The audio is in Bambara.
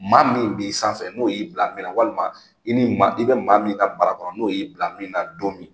Maa min b'i sanfɛ n'o y'i bila min na walima i ni maa i bɛ maa min ka marakɔnɔ n'o y'i bila min na don min